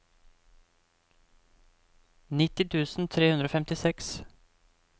nitti tusen tre hundre og femtiseks